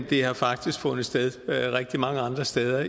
det har faktisk fundet sted rigtig mange andre steder